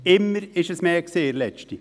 In der letzten Zeit war es immer mehr.